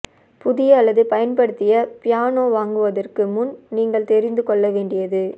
புதிய அல்லது பயன்படுத்திய பியானோ வாங்குவதற்கு முன் நீங்கள் தெரிந்து கொள்ள வேண்டியது